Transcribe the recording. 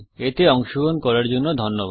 এতে অংশগ্রহন করার জন্য ধন্যবাদ